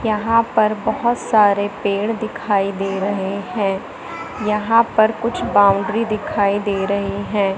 यहां पर बहुत सारे पेड़ दिखाई दे रहे हैं यहां पर कुछ बाउंड्री दिखाई दे रहे हैं।